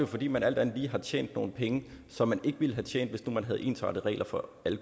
fordi man alt andet lige har tjent nogle penge som man ikke ville have tjent hvis nu man havde ensartede regler for alle